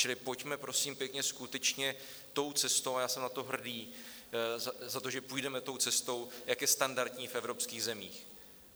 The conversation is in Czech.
Čili pojďme prosím pěkně skutečně tou cestou, a já jsem na to hrdý za to, že půjdeme tou cestou, jak je standardní v evropských zemích.